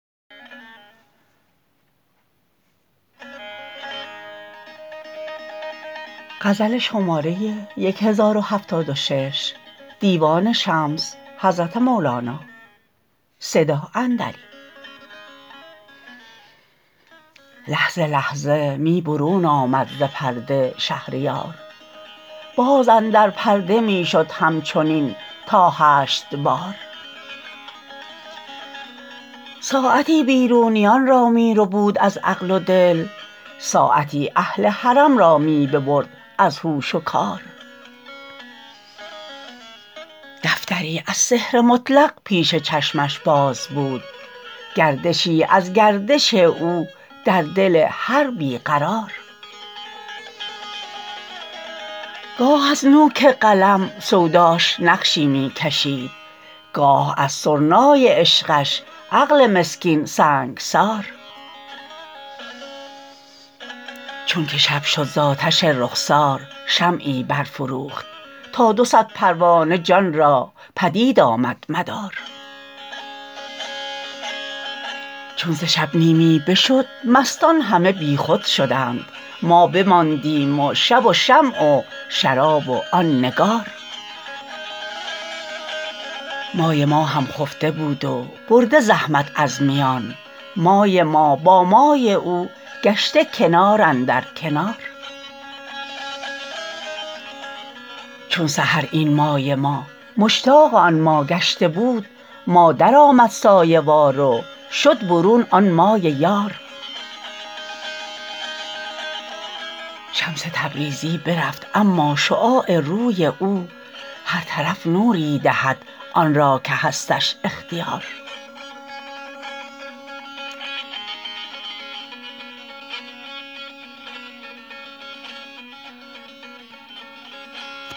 لحظه لحظه می برون آمد ز پرده شهریار باز اندر پرده می شد همچنین تا هشت بار ساعتی بیرونیان را می ربود از عقل و دل ساعتی اهل حرم را می ببرد از هوش و کار دفتری از سحر مطلق پیش چشمش باز بود گردشی از گردش او در دل هر بی قرار گاه از نوک قلم سوداش نقشی می کشید گاه از سرنای عشقش عقل مسکین سنگسار چونک شب شد ز آتش رخسار شمعی برفروخت تا دو صد پروانه جان را پدید آمد مدار چون ز شب نیمی بشد مستان همه بیخود شدند ما بماندیم و شب و شمع و شراب و آن نگار مای ما هم خفته بود و برده زحمت از میان مای ما با مای او گشته کنار اندر کنار چون سحر این مای ما مشتاق آن ما گشته بود ما درآمد سایه وار و شد برون آن مای یار شمس تبریزی برفت اما شعاع روی او هر طرف نوری دهد آن را که هستش اختیار